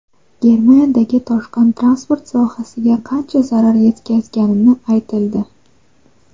Germaniyadagi toshqin transport sohasiga qancha zarar yetkazgani aytildi.